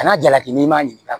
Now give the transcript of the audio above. Kana jalaki n'i m'a ɲininka